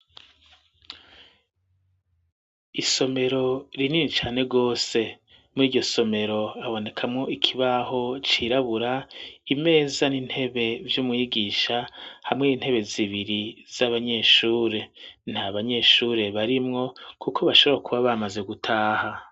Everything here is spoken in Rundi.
Isomero rinini cane rwose muri iryo somero abonekamwo ikibaho cirabura imeza n'intebe vy'umwigisha hamwe n'intebe zibiri z'abanyeshure nta banyeshure barimwo, kuko bashorakuba bamaze gutaha.